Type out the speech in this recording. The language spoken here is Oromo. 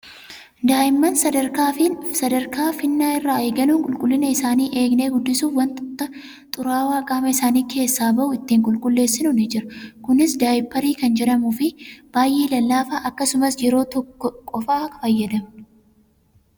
Daa'imman sadarkaa finna irraa eegaluun qulqullina isaanii eegnee guddisuuf want xuraawaa qaama isaanii keessaa bahu ittiin qulqulleessinu ni jira. Kunis daayiparii kan jedhamuuf baay'ee lallaafaa akkasumas yeroo tokko qofaa fayyadamna.